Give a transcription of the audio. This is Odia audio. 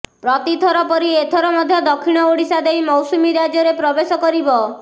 ପ୍ରତିଥର ପରି ଏଥର ମଧ୍ୟ ଦକ୍ଷିଣ ଓଡ଼ିଶା ଦେଇ ମୌସୁମୀ ରାଜ୍ୟରେ ପ୍ରବେଶ କରିବ